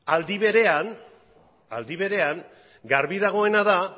aldi berean garbi dagoena da